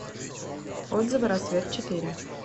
отзывы рассвет четыре